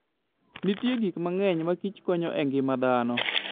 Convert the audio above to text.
Nitie gik mang'eny ma kich konyo e ngima dhano.